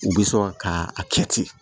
U bɛ sɔn ka a kɛ ten